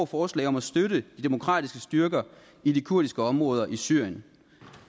forslag om at støtte de demokratiske styrker i de kurdiske områder i syrien